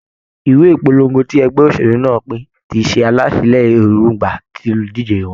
Ìwé ìpolongo tí ẹgbẹ́ òṣèlú náà pín ti ṣe àlàsílẹ̀ èròǹgbà olùdíje wọn.